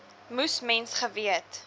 moes mens geweet